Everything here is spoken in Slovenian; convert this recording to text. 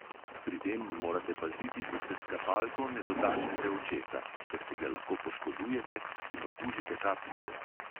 Pri tem morate paziti, da se s kapalko ne dotaknete očesa, ker si ga lahko poškodujete in okužite kapljice.